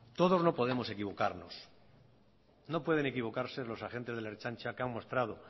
todos no podemos equivocarnos no pueden equivocarse los agentes de la ertzaintza que han mostrado